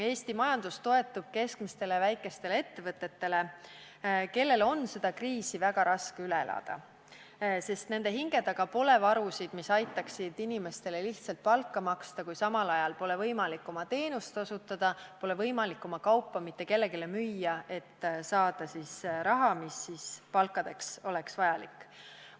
Eesti majandus toetub keskmistele ja väikestele ettevõtetele, kellel on seda kriisi väga raske üle elada, sest nende hinge taga pole varusid, mis aitaksid inimestele lihtsalt palka maksta, kui samal ajal pole võimalik oma teenust osutada, pole võimalik oma kaupa mitte kellelegi müüa, et saada raha, mis on palkadeks vajalik.